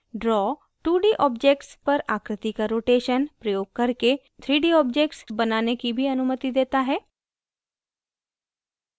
draw 2d objects पर आकृति का rotation प्रयोग करके 3d objects बनाने की भी अनुमति देता है